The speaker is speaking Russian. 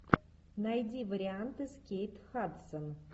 найди варианты с кейт хадсон